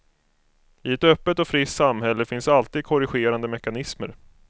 I ett öppet och friskt samhälle finns alltid korrigerande mekanismer.